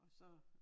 Og så